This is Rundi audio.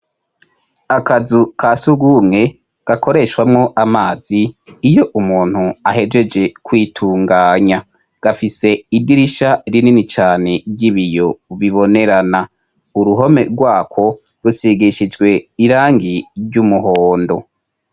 Akazu ka surwumwe gakoreshwamwo amazi, iyo umuntu ahejeje kwitunganya. Gafise idirisha rinini cane ry'ibiyo bibonerana. Uruhome rwako rusigishijwe irangi ry'umuhondo.